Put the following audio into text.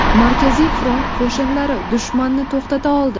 Markaziy front qo‘shinlari dushmanni to‘xtata oldi.